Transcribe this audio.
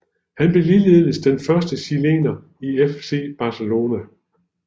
Han blev ligeledes den første chilener i FC Barcelona